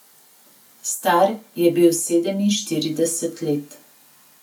Star je bil sedeminštirideset let.